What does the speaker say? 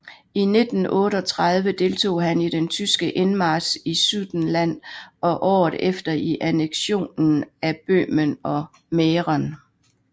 I 1938 deltog han i den tyske indmarch i Sudetenland og året efter i anneksionen af Böhmen og Mähren